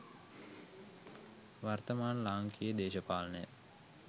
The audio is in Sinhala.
වර්තමාන ලාංකීය දේශපාලනය